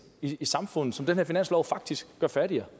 i samfundet som den her finanslov faktisk gør fattigere